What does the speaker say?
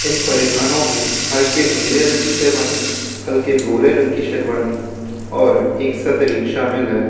परिधानों में हल्के नीले रंग की शेरवानी हल्के भूरे रंग की शेरवानी और एक सदरी शामिल है।